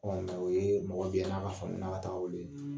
o yee mɔgɔ bi yan n'a ka sɔmina ka taa a weele